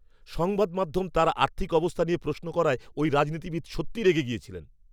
সংবাদ মাধ্যম তাঁর আর্থিক অবস্থা নিয়ে প্রশ্ন করায় ওই রাজনীতিবিদ সত্যিই রেগে গেছিলেন।